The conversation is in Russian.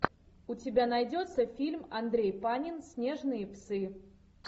у тебя найдется фильм андрей панин снежные псы